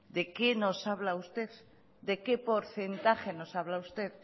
de que nos habla usted de que porcentaje nos habla usted